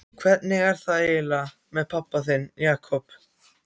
Hvernig er það eiginlega með hann pabba þinn, Jakob?